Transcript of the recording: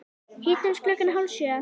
Hittumst klukkan hálf sjö.